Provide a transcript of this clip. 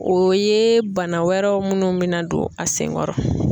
O ye bana wɛrɛw minnu mina don a senkɔrɔ.